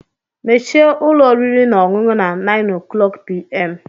Mechie ụlọ oriri na ọṅụṅụ na 9:00pm!